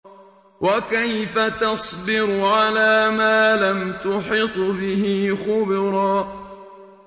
وَكَيْفَ تَصْبِرُ عَلَىٰ مَا لَمْ تُحِطْ بِهِ خُبْرًا